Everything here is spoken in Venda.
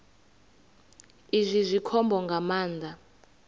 izwi zwi khombo nga maanḓa